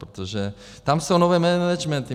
Protože tam jsou nové managementy.